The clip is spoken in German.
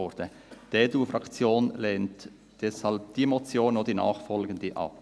Deshalb lehnt die EDU-Fraktion diese Motion sowie auch die nachfolgende ab.